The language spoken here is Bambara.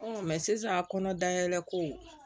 sisan kɔnɔ dayɛlɛ ko